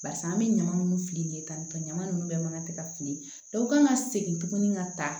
Barisa an bɛ ɲama nunnu fili ye tan ni fila ɲaman nunnu bɛɛ man ka tɛ ka fili dɔw kan ka segin tuguni ka taa